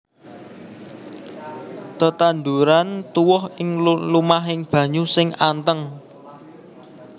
Tetanduran tuwuh ing lumahing banyu sing anteng